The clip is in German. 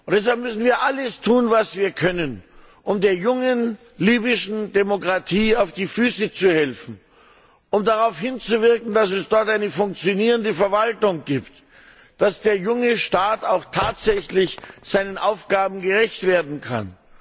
Deshalb müssen wir alles tun, was wir können, um der jungen, libyschen Demokratie auf die Füße zu helfen und darauf hinzuwirken, dass es dort eine funktionierende Verwaltung gibt, dass der junge Staat auch tatsächlich seinen Aufgaben gerecht werden kann.